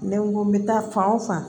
Ne ko n bɛ taa fan o fan